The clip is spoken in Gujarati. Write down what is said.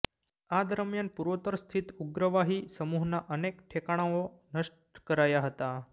આ દરમિયાન પૂર્વોત્તર સ્થિત ઉગ્રવાહી સમૂહોના અનેક ઠેકાણાઓ નષ્ટ કરાયા હતાં